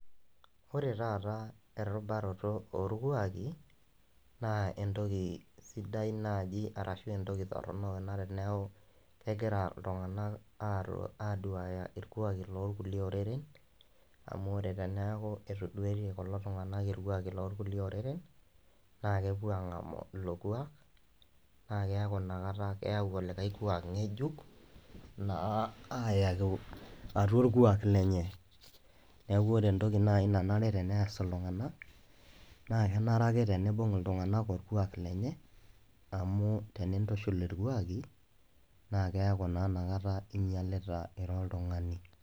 Ore taata erubaroto olkwaaki, naa entoki sidai anaa entoroni anaa teneaku egira iltung'ana aduaki ilkwaki loo lkulie oreren , amu ore teneaku etoduaitie kulo tung'ana ilkwaaki loolkulie oreren, naa keaku naa epuo ang'amu ilo kuak, naa keaku Ina kata keaku olikai kwaak, ng'ejuk laa ayau atua olkuak lenye , neaku ore entoki naaji nanare neas iltung'ana naa enare ake teneibung' iltung'ana olkwak lenye, amu yenintushul ilkwaaki, naakeaku Ina kata inyalita ira oltung'ani.